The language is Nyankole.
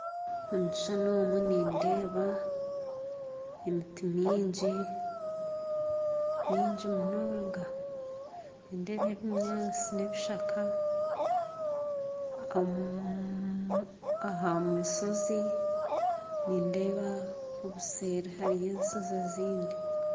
Omu kishuushani omu nindeeba emiti mingi munonga nindeeba ebinyaatsi n'ebishaaka aha mushoozi nideeba obuseeri hariyo enshoozi ezindi